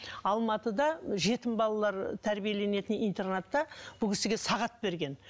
алматыда жетім балалар тәрбиеленетін интернатта бұл кісіге сағат берген